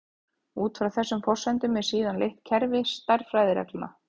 Út frá þessum forsendum er síðan leitt kerfi stærðfræðireglna.